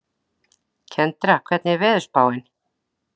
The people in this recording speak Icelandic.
Kendra, hvernig er veðurspáin?